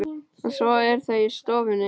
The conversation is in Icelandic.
Og svo eru þau í stofunni.